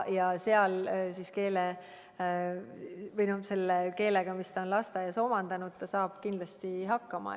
Ja seal saab ta selle eesti keelega, mis ta on lasteaias omandanud, kindlasti hakkama.